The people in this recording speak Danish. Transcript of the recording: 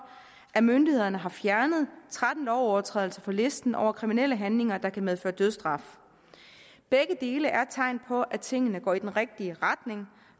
at myndighederne har fjernet tretten lovovertrædelser fra listen over kriminelle handlinger der kan medføre dødsstraf begge dele er tegn på at tingene går i den rigtige retning